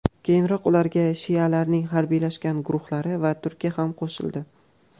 Keyinroq ularga shialarning harbiylashgan guruhlari va Turkiya ham qo‘shildi.